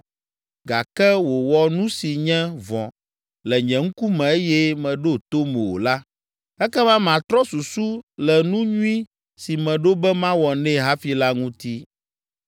gake wòwɔ nu si nye vɔ̃ le nye ŋkume eye meɖo tom o la, ekema matrɔ susu le nu nyui si meɖo be mawɔ nɛ hafi la ŋuti.